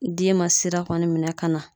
Den ma sira kɔni minɛ ka na